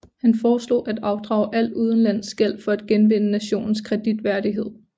Han foreslog at afdrage al udenlandsk gæld for at genvinde nationens kreditværdighed